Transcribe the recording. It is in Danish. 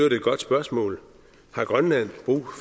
et godt spørgsmål har grønland brug